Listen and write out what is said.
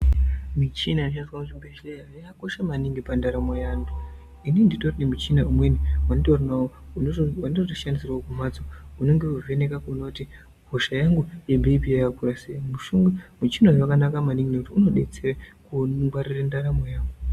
Michina inoshandiswa kuzvibhendleya yakakosha maningi pandaramo yeantu. Inini nditori nemuchina umweni wenditori nawo wandinotoshandisirwa kumhatso unenge weivheneka kuona kuti hosha yangu ye BP yakakwira sei. Muchina uyu wakanaka maningi ngekuti unodetsera kungwarira ndaramo yangu.